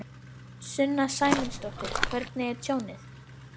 Sunna Sæmundsdóttir: Hvernig er tjónið?